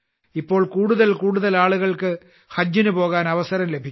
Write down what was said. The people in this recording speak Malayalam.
ഇപ്പോൾ കൂടുതൽ കൂടുതൽ ആളുകൾക്ക് ഹജ്ജിന് പോകാൻ അവസരം ലഭിക്കുന്നു